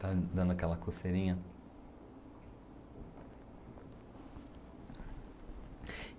Tá dando aquela coceirinha?